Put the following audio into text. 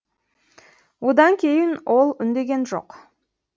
одан кейін ол үндеген жоқ